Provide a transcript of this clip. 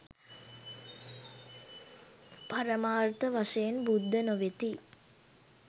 පරමාර්ථ වශයෙන් බුද්ධ නො වෙති